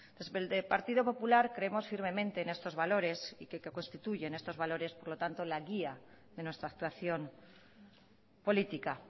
desde el partido popular creemos firmemente en estos valores y que constituyen estos valores por tanto la guía de nuestra actuación política